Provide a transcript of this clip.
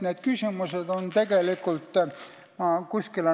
Need on tegelikult tähtsad küsimused.